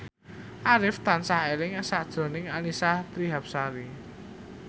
Arif tansah eling sakjroning Annisa Trihapsari